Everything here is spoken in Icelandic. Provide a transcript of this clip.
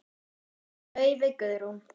Laufey Guðrún.